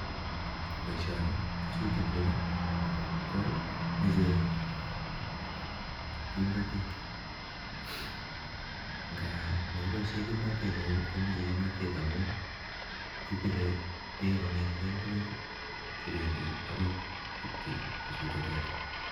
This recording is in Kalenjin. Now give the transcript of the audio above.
Boishoni kisute tugah komoche kimnotet, ngapi Mokiboishen kimnotet neo ko moche kimnotet amun kibire bek kongetgen indoit chebendi agoi Elen kisuten teta.